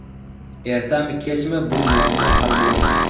Ertami kechmi bu muammo hal bo‘ladi.